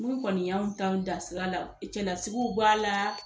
Mun kɔni y'anw ta dan sira la, cɛlasigiw b'a la